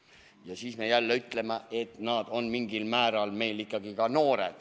Ja siis me jälle ütleme, et nad on mingil määral ikkagi ka noored.